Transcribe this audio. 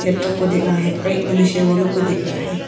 Laptop को देख रहा है और एक मनुष्य है वह लोगों को देख रहा है।